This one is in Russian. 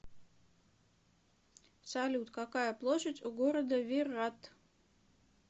салют какая площадь у города виррат